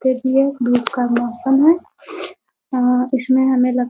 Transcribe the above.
ते भी हैं धुप का मौसम है इसमें हमें लगता --